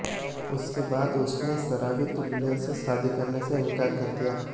इसके बाद उसने शराबी दूल्हे से शादी करने से इंकार कर दिया